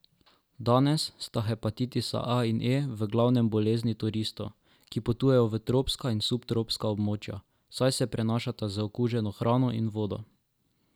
Danes sta hepatitisa A in E v glavnem bolezni turistov, ki potujejo v tropska in subtropska območja, saj se prenašata z okuženo hrano in vodo.